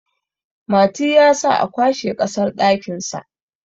Mati ya sa a kwashe kasar dakinsa